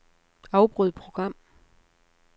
Afbryd program.